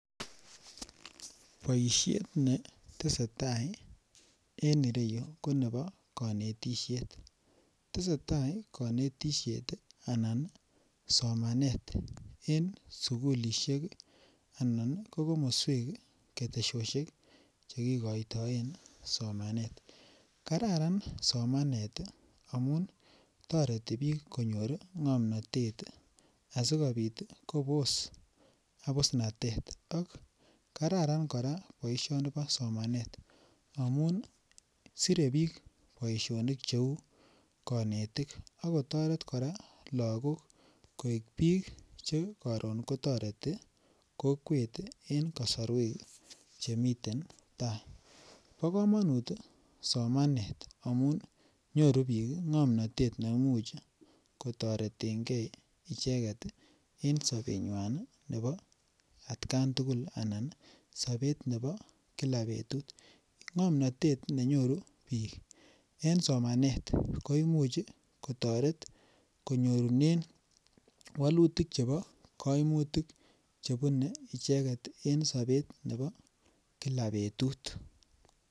Boishet netesetai en ireyu ko nebo konetisiet tesetai konetisiet anan somanet en sukulishek ii anan ii ko komoswek, keteshoshek che kigoitoen somanet. Kararan somanet ii amun toreti biik konyor ngomnotet asikopit Kobos abusnatet ak kararan koraa boisioni bo somanet amun sure biik boisionik che uu konetik ak kotoret koraa logok koik biik che koron ko toreti kokwet en kosorwek che miten tai. Bo komonut somanet amun nyoruu biik ngomnotet neimuch ko toretegee icheget ii en sobenywan nebo atkan tugul anan sober nebo Kila betut. Ngomnotet nenyoru biik en somanet koimuch kotoret konyorunen wolutik chebo koimutik chebune icheget en sober nebo Kila betut